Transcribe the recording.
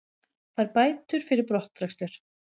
Fær bætur fyrir brottrekstur